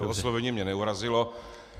To oslovení mě neurazilo.